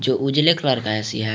उजले कलर का ऐ_सी है।